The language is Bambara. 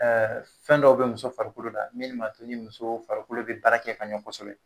Ɛɛ fɛn dɔw be muso farikolo la min ma to ni muso farikolo be baara kɛ ka ɲɛ kɔsɔbɛ.